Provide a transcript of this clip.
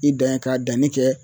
I dan ye ka danni kɛ